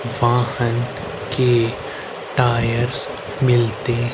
वाहन के टायर्स मिलते--